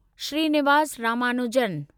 Srinivas Ramanujan